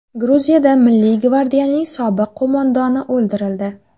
Gruziyada milliy gvardiyaning sobiq qo‘mondoni o‘ldirildi.